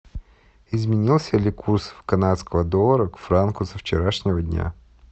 изменился ли курс канадского доллара к франку со вчерашнего дня